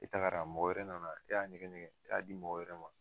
E tagala , mɔgɔ wɛrɛ nana e y'a ɲɛgɛɲɛgɛ , e y'a di mɔgɔ wɛrɛ ma.